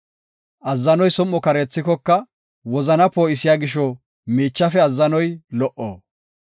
Azzanoy som7o kareethikoka, wozana poo7isiya gisho miichafe azzanoy lo77o.